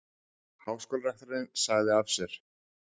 Háskólarektorinn sagði af sér